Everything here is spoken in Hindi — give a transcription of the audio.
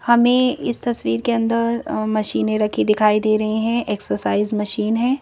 हमें इस तस्वीर के अंदर मशीनें रखी दिखाई दे रही हैं एक्सरसाइज मशीन है।